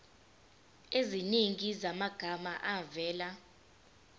eziningi zamagama avela